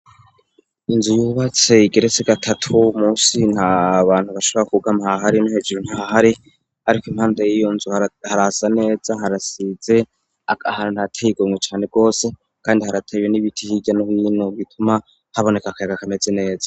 Inzu yubacse igeretse gatatu musi nta bantu bashabara kubugama hahari no hejuru ntahari, ariko impanda yiyo nzu harasa neza harasize ahara ntu ateye igomwe cane rwose, kandi haratewe n'ibiti cirya n'hino gituma haboneka akayaga kameze neza.